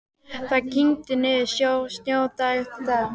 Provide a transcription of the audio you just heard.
Það kyngdi niður snjó dag eftir dag.